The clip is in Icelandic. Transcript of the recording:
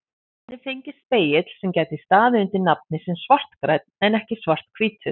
Þannig fengist spegill sem gæti staðið undir nafni sem svartgrænn en ekki svarthvítur.